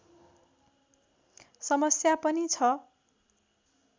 समस्या पनि छ